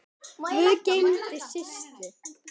Guð geymi Systu.